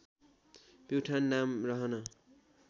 प्युठान नाम रहन